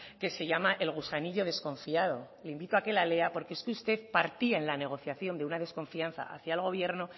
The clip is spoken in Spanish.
que se llama el gusanillo desconfiado le invito a que la lea porque es que usted partía en la negociación de una desconfianza hacia el gobierno